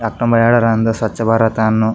ಹೇಲರ್ ಎಂದು ಸ್ವಚ್ಛ ಭಾರತ ಅನ್ನು--